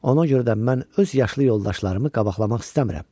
Ona görə də mən öz yaşlı yoldaşlarımı qabaqlamaq istəmirəm.